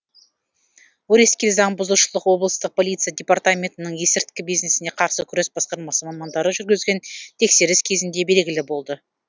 өрескел заң бұзушылық облыстық полиция департаментінің есірткі бизнесіне қарсы күрес басқармасы мамандары жүргізген тексеріс кезінде белгілі болды